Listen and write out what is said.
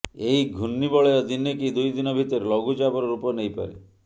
ଏହି ଘୂର୍ଣ୍ଣିବଳୟ ଦିନେ କି ଦୁଇଦିନ ଭିତରେ ଲଘୁଚାପର ରୂପ ନେଇପାରେ